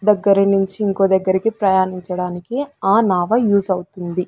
దగ్గరి నుంచి ఇంకో దగ్గరికి ప్రయాణించడానికి ఆ నావ యూస్ అవుతుంది.